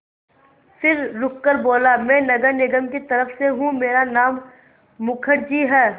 फिर रुककर बोला मैं नगर निगम की तरफ़ से हूँ मेरा नाम मुखर्जी है